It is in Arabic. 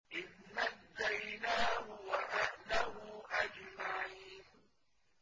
إِذْ نَجَّيْنَاهُ وَأَهْلَهُ أَجْمَعِينَ